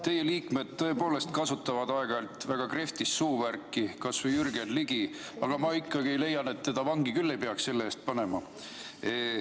Teie liikmed tõepoolest kasutavad aeg-ajalt väga krehvtist suuvärki, kas või Jürgen Ligi, aga ma leian, et vangi ei peaks teda selle eest panema.